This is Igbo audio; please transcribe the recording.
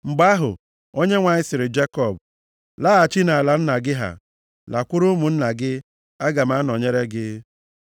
Mgbe ahụ, Onyenwe anyị sịrị Jekọb, “Laghachi nʼala nna gị ha, lakwuru ụmụnna gị, aga m anọnyere gị.”